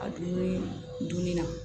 A dumuni dunni na